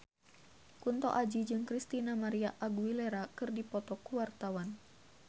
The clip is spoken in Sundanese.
Kunto Aji jeung Christina María Aguilera keur dipoto ku wartawan